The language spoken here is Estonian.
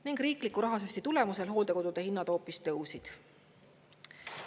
Ning riikliku rahasüsti tulemusena hooldekodude hinnad hoopis tõusid.